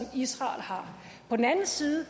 israel har på den anden side og